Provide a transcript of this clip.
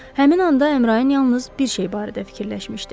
Həmin anda Əmrayın yalnız bir şey barədə fikirləşmişdi.